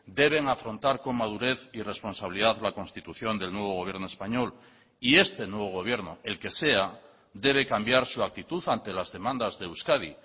deben afrontar con madurez y responsabilidad la constitución del nuevo gobierno español y este nuevo gobierno el que sea debe cambiar su actitud ante las demandas de euskadi